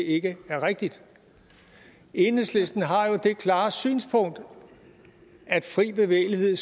ikke er rigtigt enhedslisten har jo det klare synspunkt at fri bevægelighed